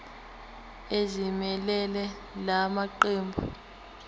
ezimelele la maqembu